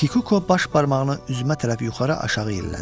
Kikuko baş barmağını üzümə tərəf yuxarı, aşağı yellədi.